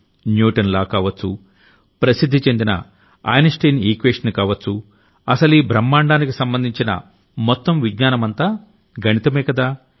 Newton law కావొచ్చు ప్రసిద్ధి చెందిన ఐన్ స్టీన్ ఈక్వేషన్ కావొచ్చు అసలీ బ్రహ్మాండానికి సంబంధించిన మొత్తం విజ్ఞానమంతా గణితమే కదా